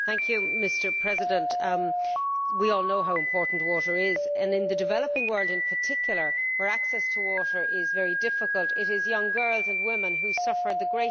Mr President, we all know how important water is and in the developing world in particular, where access to water is very difficult, it is young girls and women who suffer the most.